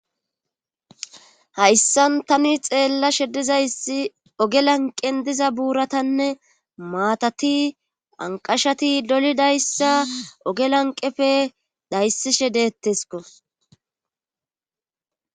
hayssan tani xeellashe dizayssi oge lanqen diza buuratanne maatati anqashati dolidayssa oge lanqefe dayssishe deettesko